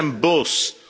Wij zijn boos.